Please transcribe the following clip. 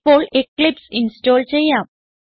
ഇപ്പോൾ Eclipse install ചെയ്യാം